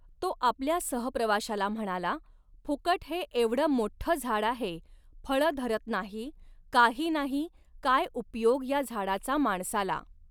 तो आपल्या सहप्रवाशाला म्हणाला, फुकट हे एवढं मोठ्ठं झाड आहे, फळं धरत नाही, काही नाही, काय उपयोग या झाडाचा माणसाला?